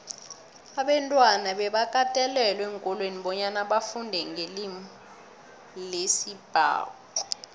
abantwana bebakatelelwa eenkolweni bonyana bafundenqelimilesibhuxu